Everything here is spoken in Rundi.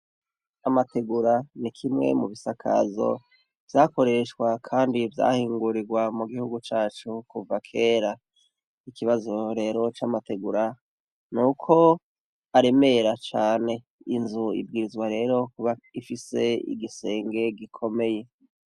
Amategura ni kimwe mu bisakazo vyakoreshwa kandi vyahingurirwa mu gihugu cacu kuva kera. Ikibazo rero c'amategura, ni uko aremera cane. Inzu ibwirizwa rero kuba ifise igisenge gikomeye.